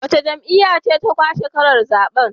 Wace jam'iyya ce ta lashe karar zaben?